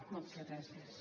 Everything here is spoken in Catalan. moltes gràcies